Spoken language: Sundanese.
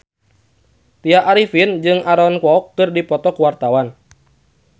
Tya Arifin jeung Aaron Kwok keur dipoto ku wartawan